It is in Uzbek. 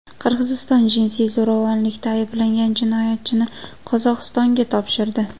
Qirg‘iziston jinsiy zo‘ravonlikda ayblangan jinoyatchini Qozog‘istonga topshirdi.